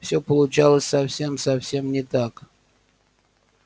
всё получалось совсем совсем не так